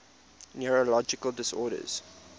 neurological disorders